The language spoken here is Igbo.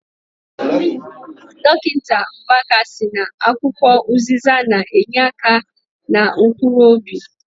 Dọkịta Mbaka sị na akwụkwọ ụzịza na- enyeaka na mkpuruobi.